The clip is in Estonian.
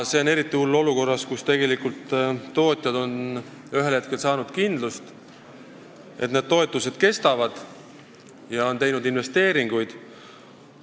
See on eriti hull olukorras, kus tootjad on ühel hetkel saanud kindlust, et need toetused kestavad, ja on teinud investeeringuid.